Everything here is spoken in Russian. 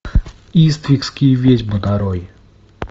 иствикские ведьмы нарой